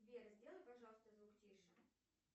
сбер сделай пожалуйста звук тише